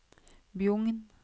Bjugn